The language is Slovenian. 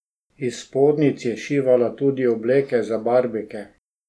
Iz spodnjic je šivala tudi obleke za barbike.